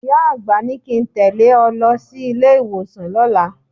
Ìyá àgbà ní kí n tẹ̀lé ẹ lọ sí ilé-ìwọ̀sàn lọ́la.